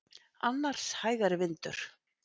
Annars hægari vindur